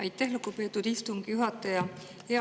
Aitäh, lugupeetud istungi juhataja!